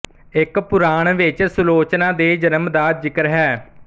ਇੱਕ ਪੁਰਾਣ ਵਿੱਚ ਸੁਲੋਚਨਾ ਦੇ ਜਨਮ ਦਾ ਜ਼ਿਕਰ ਹੈ